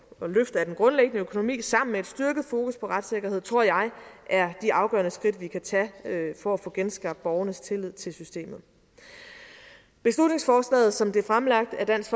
løft af den grundlæggende økonomi sammen med et styrket fokus på retssikkerhed tror jeg er de afgørende skridt vi kan tage for at få genskabt borgernes tillid til systemet beslutningsforslaget som det er fremlagt af dansk